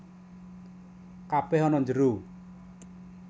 Kabèh ana njero